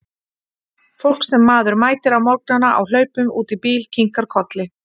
Fólk sem maður mætir á morgnana á hlaupum út í bíl, kinkar kolli.